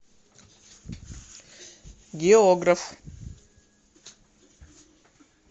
географ